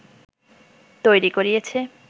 তৈরি করিয়েছে